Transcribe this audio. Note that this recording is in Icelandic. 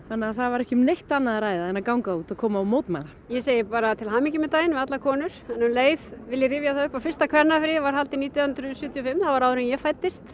þannig að það var ekki um neitt annað að ræða en að ganga út og koma og mótmæla ég segi bara til hamingju með daginn við allar konur en um leið vil ég rifja það upp að fyrsta kvennafríið var haldið nítján hundruð sjötíu og fimm það var áður en ég fæddist